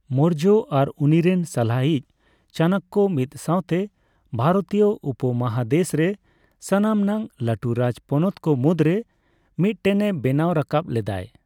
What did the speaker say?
ᱢᱳᱨᱡᱚ ᱟᱨ ᱩᱱᱤᱨᱮᱱ ᱥᱟᱞᱦᱟ ᱤᱪ ᱪᱟᱱᱱᱚᱠᱚ ᱢᱤᱫ ᱥᱟᱣᱛᱮ ᱵᱷᱟᱨᱛᱤᱭᱚ ᱩᱯᱚ ᱢᱚᱦᱟᱫᱮᱥᱨᱮ ᱥᱟᱱᱟᱢ ᱱᱟᱝ ᱞᱟᱹᱴᱩ ᱨᱟᱡᱽ ᱯᱚᱱᱚᱛ ᱠᱚ ᱢᱩᱫᱨᱮ ᱢᱤᱫᱴᱮᱱᱮ ᱵᱮᱱᱟᱣ ᱨᱟᱠᱟᱵ ᱞᱮᱫᱟᱭ᱾